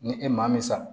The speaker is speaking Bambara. Ni e maa min sa